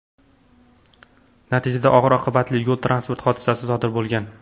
Natijada og‘ir oqibatli yo‘l transport hodisasi sodir bo‘lgan.